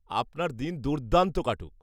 -আপনার দিন দুর্দান্ত কাটুক।